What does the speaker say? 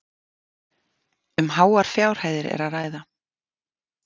Um háar fjárhæðir er að ræða